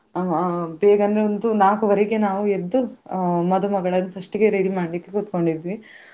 ಅಹ್ ಬೇಗ ಅಂದ್ರೆ ಒಂದು ನಾಲ್ಕೂವರೆಗೆ ನಾವು ಎದ್ದು ಅಹ್ ಮದುಮಗಳನ್ನು first ಗೆ ready ಮಾಡ್ಲಿಕೆ ಕುತ್ಕೊಂಡಿದ್ವಿ.